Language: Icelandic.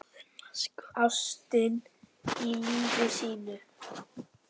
Ástina í lífi sínu.